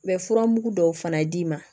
U bɛ furamugu dɔw fana d'i ma